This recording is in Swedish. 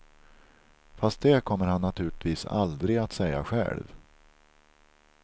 Fast det kommer han naturligtvis aldrig att säga själv.